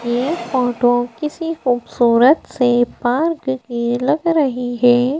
ये फोटो किसी खूबसूरत से पार्क की लग रही है।